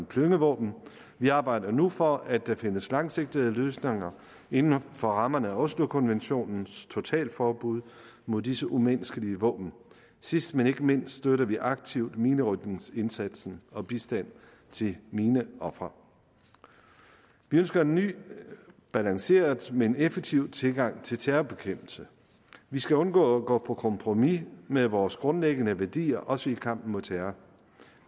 klyngevåben vi arbejder nu for at der findes langsigtede løsninger inden for rammerne af oslokonventionens totalforbud mod disse umenneskelige våben sidst men ikke mindst støtter vi aktivt minerydningsindsatsen og bistand til mineofre vi ønsker en ny relanceret men effektiv tilgang til terrorbekæmpelse vi skal undgå at gå på kompromis med vores grundlæggende værdier også i kampen mod terror